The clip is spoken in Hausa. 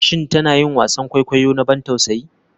Shin tana yin wasan kwaikwayo na ban tausayi?